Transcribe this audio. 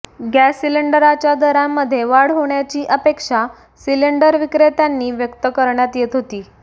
gas सिलिंडरांच्या दरांमध्ये वाढ होण्याची अपेक्षा सिलिंडर विक्रेत्यांनी व्यक्त करण्यात येत होती